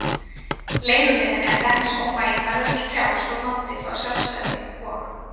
Leiguliðinn eða hreppsómaginn verður ekki frjáls þótt landið fái sjálfstæði, og.